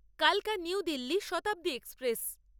কালকা New Delhi Shatabdi express